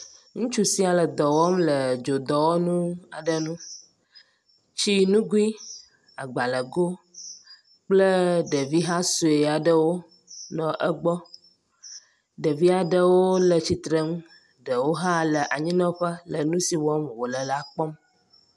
Ŋutsu sia le dɔ wɔm le dzodɔwɔnu aɖe nu. Tsi nugui, agbalẽgo kple ɖevi ha sɔe aɖewo nɔ egbɔ, ɖevia ɖewo le tsitrenu, ɖewo hã le anyinɔƒe le nu si wɔm wòle la kpɔm.